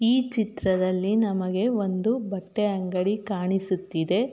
ಈ ಚಿತ್ರದಲ್ಲಿ ನಮಗೆ ಒಂದು ಬಟ್ಟೆ ಅಂಗಡಿ ಕಾಣಿಸುತ್ತಿದೆ.